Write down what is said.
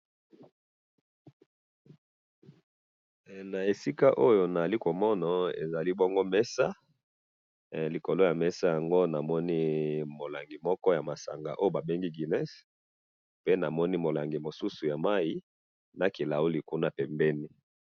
Na moni na mesa molangi ya masanga ba bengi guiness na molangi ya mai na kilauli pembeni.